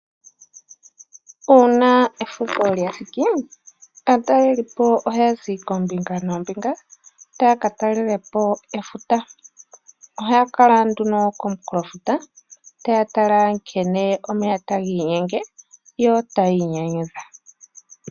Uuna efudho lya thiki , aatalelipo ohaya zi koombinga noombinga taya ka talelapo efuta. Ohaya kala nduno komunkulofuta taya tala nkene omeya tagi inyenge, yo taya inyanyudha.